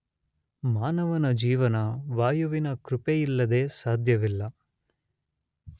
ಮಾನವನ ಜೀವನ ವಾಯುವಿನ ಕೃಪೆಯಿಲ್ಲದೆ ಸಾಧ್ಯವಿಲ್ಲ.